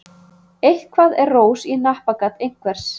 Eitthvað er rós í hnappagat einhvers